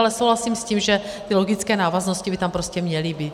Ale souhlasím s tím, že ty logické návaznosti by tam prostě měly být.